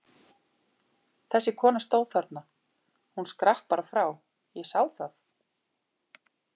Þessi kona stóð þarna, hún skrapp bara frá, ég sá það!